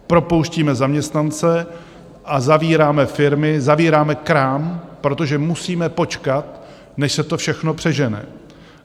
Propouštíme zaměstnance a zavíráme firmy, zavíráme krám, protože musíme počkat, než se to všechno přežene.